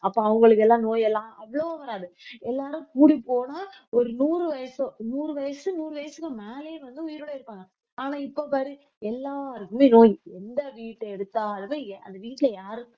அப்ப அவங்களுக்கு எல்லாம் நோயெல்லாம் அவ்வளவு வராது எல்லாரும் கூடிப் போனா ஒரு நூறு வயசு நூறு வயசு நூறு வயசுக்கு மேலயே வந்து உயிரோட இருப்பாங்க ஆனா இப்ப பாரு எல்லாருக்குமே நோய் எந்த வீட்டை எடுத்தாலுமே அந்த வீட்டுல யாருக்~